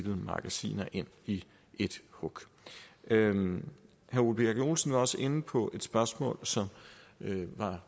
magasiner ind i et hug herre ole birk olesen var også inde på et spørgsmål som